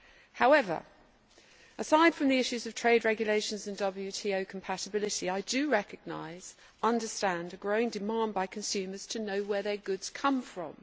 However, aside from the issues of trade regulations and WTO compatibility, I recognise and understand a growing demand by consumers to know where their good come from.